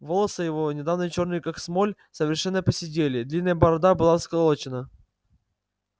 волоса его недавно чёрные как смоль совершенно поседели длинная борода была всклокочена